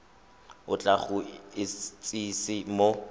o tla go itsise mo